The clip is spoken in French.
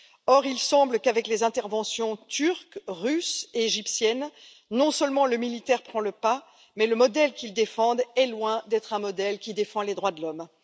Or, il semble qu'avec les interventions turque, russe et égyptienne, non seulement le militaire prend le pas, mais le modèle qu'elles défendent est loin d'être un modèle qui défend les droits de l'homme.